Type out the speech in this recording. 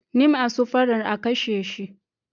Nim'a su fara'n a kashe shi.